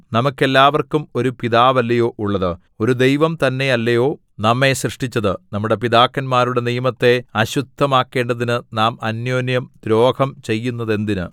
നമുക്കെല്ലാവർക്കും ഒരു പിതാവല്ലയൊ ഉള്ളത് ഒരു ദൈവം തന്നേയല്ലയൊ നമ്മെ സൃഷ്ടിച്ചത് നമ്മുടെ പിതാക്കന്മാരുടെ നിയമത്തെ അശുദ്ധമാക്കേണ്ടതിനു നാം അന്യോന്യം ദ്രോഹം ചെയ്യുന്നതെന്തിന്